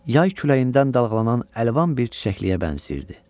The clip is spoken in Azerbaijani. yay küləyindən dalğalanan əlvan bir çiçəkliyə bənzəyirdi.